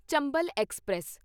Chambal express